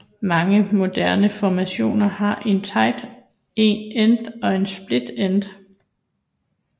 Mange moderne formationer har én tight end og én split end